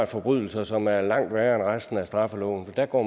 forbrydelser som er langt værre end resten af straffeloven for der går